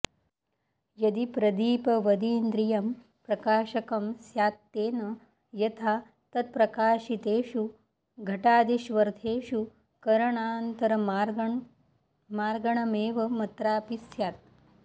यदि प्रदीपवदिन्द्रियं प्रकाशकं स्यात्तेन यथा तत्प्रकाशितेषु घटादिष्वर्थेषु करणान्तरमार्गणमेवमत्रापि स्यात्